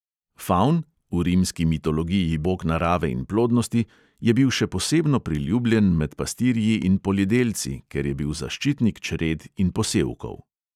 Favn, v rimski mitologiji bog narave in plodnosti, je bil še posebno priljubljen med pastirji in poljedelci, ker je bil zaščitnik čred in posevkov.